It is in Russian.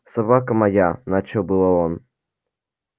собака моя начал было он